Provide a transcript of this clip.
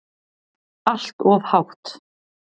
Allt of hátt.